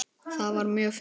Það var mjög fínt.